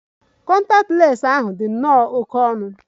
Kọntaktị lens ahu di nnọọ oké ọnụ.